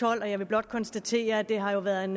tolv og jeg vil blot konstatere at det har været en